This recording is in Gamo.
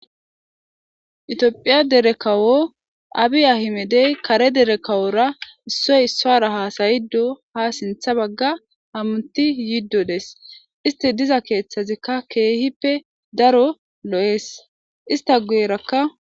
Itiophiya dere kawo abi ahimedey kare dere kawora issoy issoara hasayido ha sintha bagga hamuti yiddo des isti diza keeththazikka keehippe daro lo'ees ista guyerakka.